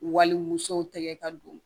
Walimusow tɛgɛ ka don